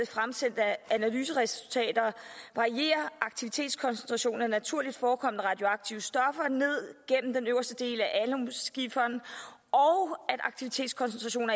fremsendte analyseresultater varierer aktivitetskoncentrationen af naturligt forekommende radioaktive stoffer ned gennem den øverste del af alun skiferen aktivitetskoncentrationen